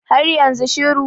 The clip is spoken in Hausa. har yanzu shiru